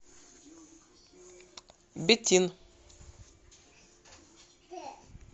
бетин